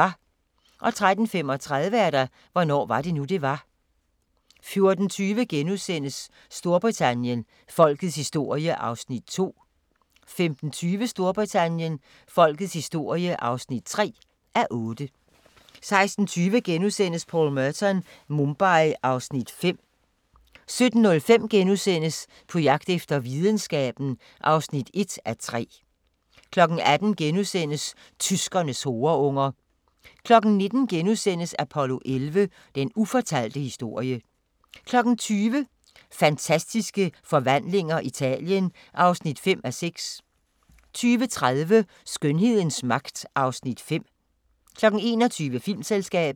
13:35: Hvornår var det nu, det var? 14:20: Storbritannien – Folkets historie (2:8)* 15:20: Storbritannien – Folkets historie (3:8) 16:20: Paul Merton – Mumbai (Afs. 5)* 17:05: På jagt efter videnskaben (1:3)* 18:00: Tyskernes horeunger * 19:00: Apollo 11: Den ufortalte historie * 20:00: Fantastiske Forvandlinger – Italien (5:6) 20:30: Skønhedens magt (Afs. 5) 21:00: Filmselskabet